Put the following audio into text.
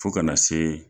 Fo kana se